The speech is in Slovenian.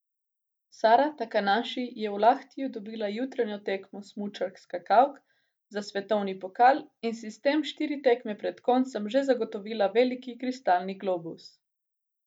Sara Takanaši je v Lahtiju dobila jutranjo tekmo smučark skakalk za svetovni pokal in si s tem štiri tekme pred koncem že zagotovila veliki kristalni globus.